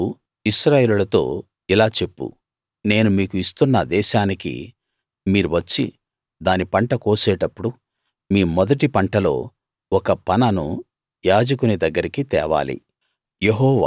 నీవు ఇశ్రాయేలీయులతో ఇలా చెప్పు నేను మీకు ఇస్తున్న దేశానికి మీరు వచ్చి దాని పంట కోసేటప్పుడు మీ మొదటి పంటలో ఒక పనను యాజకుని దగ్గరికి తేవాలి